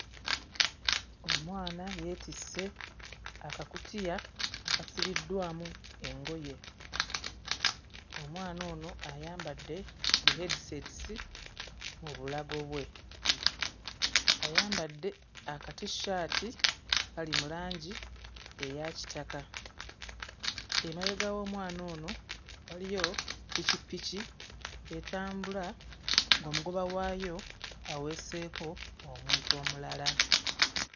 Omwana yeetisse akakutiya akasibiddwamu engoye. Omwana ono ayambadde bihedisetisi mu bulago bwe, ayambadde akatishati akali mu langi eya kitaka. Emabega w'omwana ono waliyo ppikippiki etambula ng'omugoba waayo aweeseeko omuntu omulala.